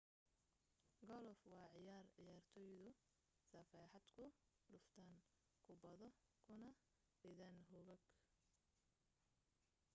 golof waa ciyaar ciyaartoydu safeexad ku dhuftaan kubbado kuna ridaan hogag